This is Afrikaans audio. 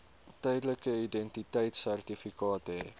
tydelike identiteitsertifikaat hê